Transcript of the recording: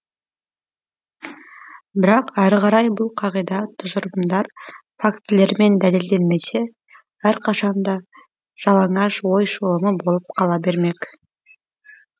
бірақ әрі қарай бұл қағида тұжырымдар фактілермен дәлелденбесе әрқашанда жалаңаш ой шолымы болып қала бермек